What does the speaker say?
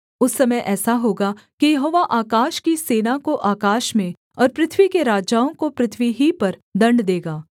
उस समय ऐसा होगा कि यहोवा आकाश की सेना को आकाश में और पृथ्वी के राजाओं को पृथ्वी ही पर दण्ड देगा